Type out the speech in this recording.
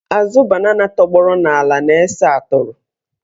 Azụ banana tọgbọrọ n'ala na-ese atụrụ.